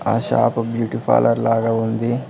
ఆ shop beauty parlour లాగ ఉంది.